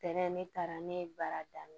Tɛnɛ ne taara ne ye baara daminɛ